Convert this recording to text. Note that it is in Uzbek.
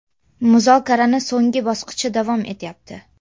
Muzokarani so‘nggi bosqichi davom etyapti.